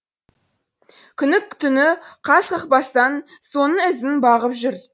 күні түні қас қақпастан соның ізін бағып жүр